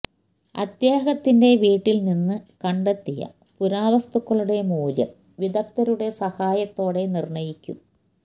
അദ്ദേഹത്തിന്റെ വീട്ടില് നിന്ന് കണ്ടെത്തിയ പുരാവസ്തുക്കളുടെ മൂല്യം വിദഗ്ധരുടെ സഹായത്തോടെ നിര്ണ്ണയിക്കും